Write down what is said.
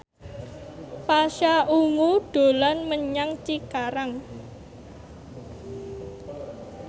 Pasha Ungu dolan menyang Cikarang